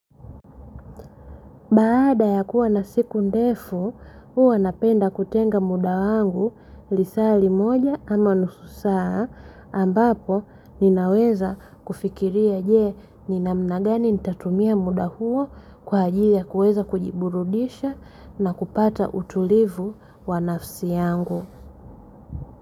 Baada ya kuwa na siku ndefu, huwa napenda kutenga muda wangu lisaa limoja ama nusu saa ambapo ninaweza kufikiria je, ni namna gani nitatumia muda huo kwa ajili ya kuweza kujiburudisha na kupata utulivu wa nafsi yangu.